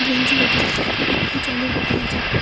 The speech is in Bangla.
ব্রেঞ্জের উপরে একটি জলের বোতল আছে।